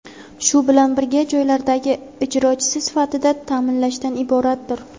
shu bilan birga joylardagi ijrochisi sifatida ta’minlashdan iboratdir.